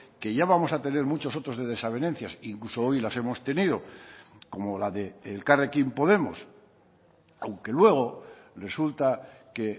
que ya vamos a tener muchos otros de desavenencias incluso hoy las hemos tenido como la de elkarrekin podemos aunque luego resulta que